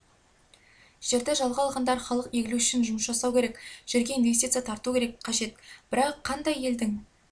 жерді жалға алғандар халық игілігі үшін жұмыс жасау керек жерге инвестиция тарту қажет бірақ қандай елдің